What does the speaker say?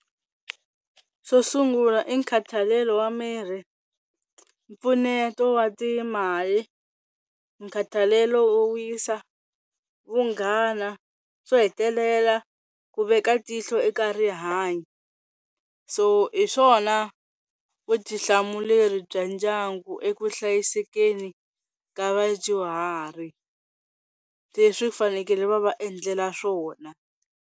Xo sungula i nkhathalelo wa mirhi, mpfuneto wa timali, nkhathalelo wo wisa, vunghana, xo hetelela ku veka tihlo eka rihanyo. So hi swona vutihlamuleri bya ndyangu eku hlayisekeni ka vadyuhari leswi fanekele va va endlela swona.